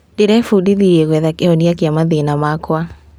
Ndĩrebundithirie gwetha kĩhonia kĩa mathĩna makwa.